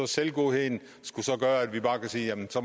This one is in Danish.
selvgodheden skulle så gøre at vi bare kan sige at det